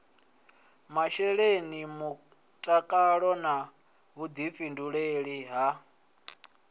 masheleni mutakalo na vhuḓifhinduleli ha